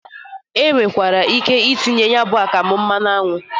E nwekwara ike itinye ya bụ akamụ mmanụ anwụ.